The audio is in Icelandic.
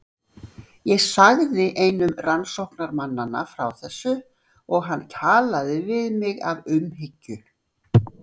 Ég sagði einum rannsóknarmannanna frá þessu og hann talaði við mig af umhyggju.